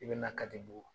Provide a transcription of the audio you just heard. I bɛna kari bu